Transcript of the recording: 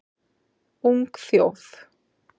Ung þjóð